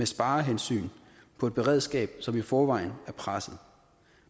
sparehensyn på et beredskab som i forvejen er presset